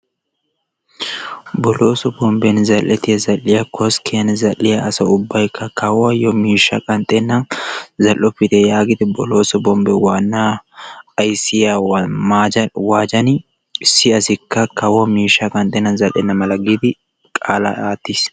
Bolooso bomben zal"ettiya zal"iya koskkiyan zal'iya asaa ubbayikka kawuwayo miishsha qanxennan zal"oppite yaagidi bolooso bombe waanna ayissiya maaca waacani issi assikka kawo mishshaa qanxennan zal"enna mala giidi qaala aattis.